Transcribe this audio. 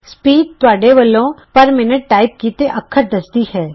speed ਤੁਹਾਡੇ ਵਲੋਂ per minute type ਕੀਤੇ ਅੱਖਰ ਦੱਸਦੀ ਹੈ